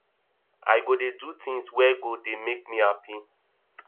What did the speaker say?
i go dey do tins wey go dey make me hapi